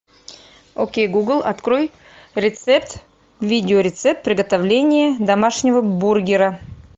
окей гугл открой рецепт видеорецепт приготовления домашнего бургера